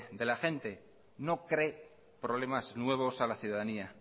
de la gente no cree problemas nuevos a la ciudadanía